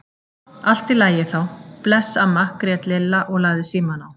Allt í lagi þá, bless amma grét Lilla og lagði símann á.